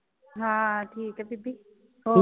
ਹਾਂ ਠੀਕ ਆ ਬੀਬੀ ਹੋਰ।